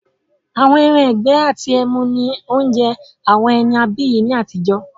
“Ẹran-ìgbẹ́ àti ẹmu” ni oúnjẹ àwọn ẹni abiyì ni àtijọ́